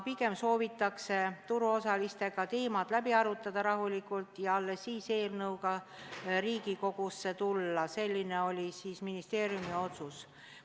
Pigem soovitakse turuosalistega teemad rahulikult läbi arutada ja alles siis eelnõuga Riigikogusse tulla, selline oli ministeeriumi otsus.